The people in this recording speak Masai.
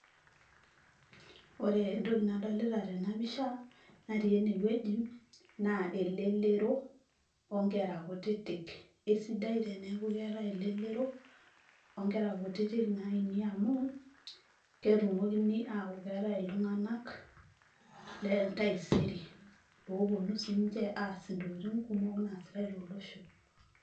ore entoki nadolita tena pisha natii enewueji naa elelero onkera kutitik eisidai teneeku keetae elelero onkera kutitik naini amu ketumokini aaku keetae iltung'anak le entaisere loponu sininche aas intokitin kumok naasitae tolosho.